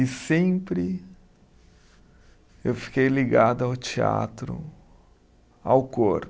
E sempre eu fiquei ligado ao teatro, ao cor